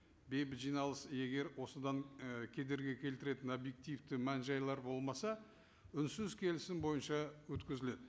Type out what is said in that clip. бейбіт жиналыс егер осыдан і кедергі келтіретін объективті мән жайлар болмаса үнсіз келісім бойынша өткізіледі